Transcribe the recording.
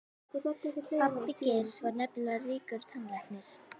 Pabbi Geirs var nefnilega ríkur tannlæknir.